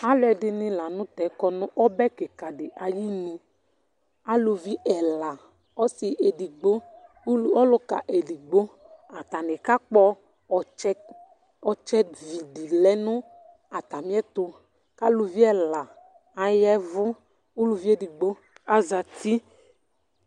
Aluɛdini la nu tɛ kɔ nu ɔbɛ kika ayi nù, aluvi ɛla, ɔsi edigbo, ɔluka edigbo, atani kakpɔ̃ ɔtsɛ , ɔtsɛ ví di lɛ nu atamìɛtu k'aluvi ɛla ayɛvu ku uluvi edigbo zati